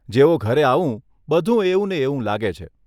જેવો ઘરે આવું બધુ એવું ને એવું લાગે છે.